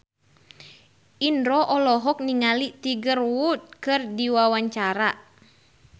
Indro olohok ningali Tiger Wood keur diwawancara